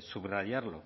subrayarlo